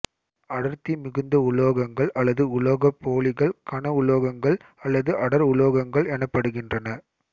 அடர்த்தி மிகுந்த உலோகங்கள் அல்லது உலோகப்போலிகள் கன உலோகங்கங்கள் அல்லது அடர் உலோகங்கள் எனப்படுகின்றன